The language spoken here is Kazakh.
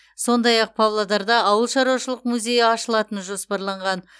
сондай ақ павлодарда ауылшаруашылық музейі ашылатыны жоспарланған